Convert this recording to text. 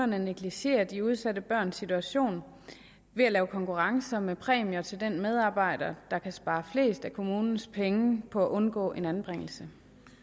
negligerer de udsatte børns situation ved at lave konkurrencer med præmier til den medarbejder der kan spare flest af kommunens penge på at undgå en anbringelse